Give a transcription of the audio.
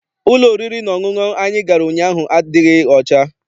Ụlọ oriri na ọṅụṅụ anyị gara ụnyaahụ adịghị ọcha.